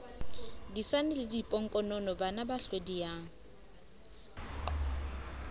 disane le bodiponkonono banaba hlodiyang